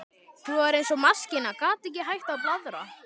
Hún var eins og maskína, gat ekki hætt að blaðra.